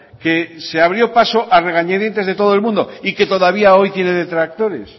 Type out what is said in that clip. que se abrió paso a regañadientes de todo el mundo y que todavía hoy tiene detractores